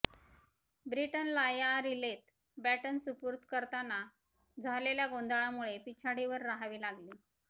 ब्रिटनला या रिलेत बॅटन सुपूर्द करताना झालेल्या गोंधळामुळे पिछाडीवर रहावे लागले